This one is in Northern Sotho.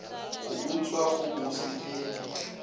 go utswa go bose ke